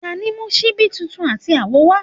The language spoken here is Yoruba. tani mu ṣibi titun ati awo wa?